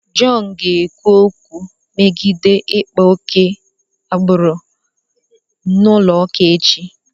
John ga-ekwu okwu megide ịkpa oke agbụrụ n'ụlọụka echi.